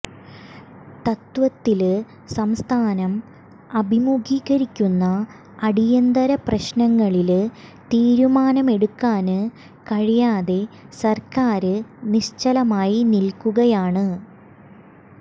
തത്ത്വത്തില് സംസ്ഥാനം അഭിമുഖീകരിക്കുന്ന അടിയന്തര പ്രശ്നങ്ങളില് തീരുമാനമെടുക്കാന് കഴിയാതെ സര്ക്കാര് നിശ്ചലമായി നില്ക്കുകയാണ്